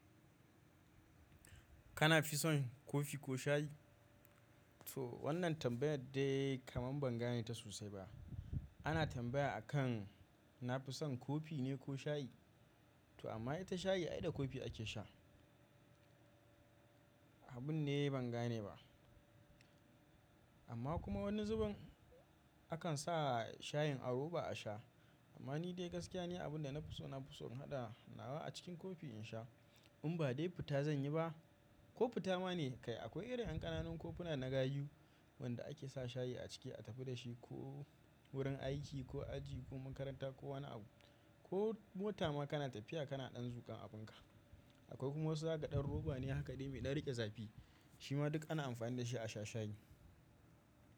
Kana fi son kofi ko shayi? To wannan tambayar dai kaman ban gane ta sosai ba. Ana tambaya akan na fi son kofi ne ko shayi? To amma ita shayi ai da kofi ake sha. Abun ne ban gane ba. Amma kuma wani zubin akan sa shayin a roba a sha. Amma ni dai gaskiya ni abin da na fi so, na fi so in hada nawa a cikin kofi in sha. In ba dai fita zan yi ba ko fita ma ne kai akwai irin 'yan ƙananun kofuna na gayu wanda ake sa shayi a ciki a tafi da shi ko wurin aiki ko aji ko makaranta ko wani abu ko mota ma kana tafiya kana ɗan zuƙan abunka. Akwai kuma wasu zaga dan roba ne haka dai mai ɗan riƙe zafi shima duk ana amfani da shi a sha shayi.